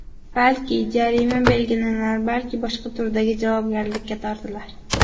Balki, jarima belgilanar, balki boshqa turdagi javobgarlikka tortilar.